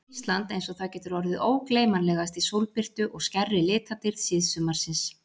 Ísland einsog það getur orðið ógleymanlegast í sólbirtu og skærri litadýrð síðsumarsins.